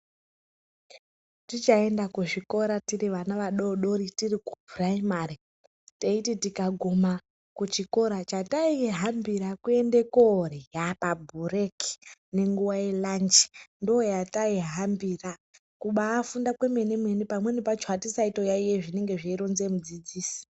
Tichaenda kuzvikora tiri vana vadoridori tiri kupuraimari teiti tikaguma kuchikora chataihambira kuenda korya pabhureki nenguwa yelachi ndoyataihambira kutofunda kwemene mene pamwe pacho hatisaiyayiya zvinobhuya mudzidzisi .